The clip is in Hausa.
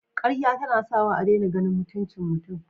Karya tana sawa a dena ganin mutuncin mutun